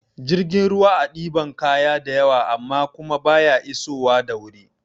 Jirgin ruwa a ɗiban kaya da yawa amma kuma baya iso wa da wuri